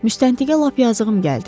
Müstəntiqə lap yazığım gəldi.